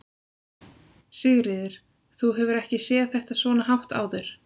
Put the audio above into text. Sigríður: Þú hefur ekki séð þetta svona hátt áður?